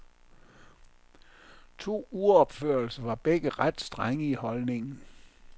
To uropførelser var begge ret strenge i holdningen.